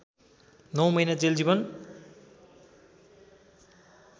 नौ महिना जेल जीवन